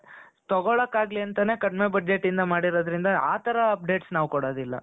ಮತ್ತೆ ಬಡವರಿಗೆ ತಗೊಳಕ್ಕಾಗ್ಲಿ ಅಂತಾನೆ ಕಡಿಮೆ budgetಯಿಂದ ಮಾಡಿರೋದ್ರಿಂದ ಆತರ updates ನಾವ್ ಕೊಡೋದಿಲ್ಲ